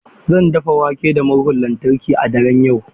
Zan dafa wake da murhun lantarki a daren yau.